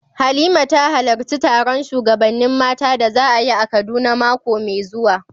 Halima ta halarci taron shugabannin mata da za a yi a Kaduna mako mai zuwa.